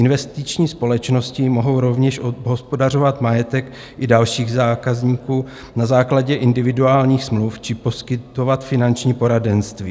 Investiční společnosti mohou rovněž obhospodařovat majetek i dalších zákazníků na základě individuálních smluv či poskytovat finanční poradenství.